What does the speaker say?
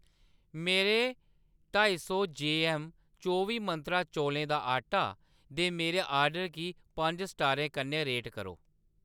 मेरे ढाई जीऐम्म चौबी मंत्रा चौलें दा आटा दे मेरे ऑर्डर गी पंज स्टारें कन्नै रेट करो